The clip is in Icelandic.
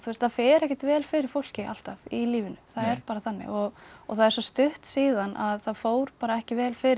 það fer ekkert vel fyrir fólki alltaf í lífinu það er bara þannig og það er stutt síðan að það fór bara ekki vel fyrir